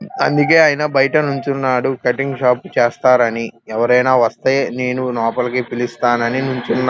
అందుకే ఆయన బైట నించున్నారు కటింగ్ షాప్ చేస్తారని ఎవరైనా వస్తే నేను లోపలికి పిలిస్తాను అని నించున్నా --